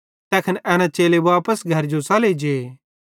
तैखन एना चेले वापस घरजो च़ले जे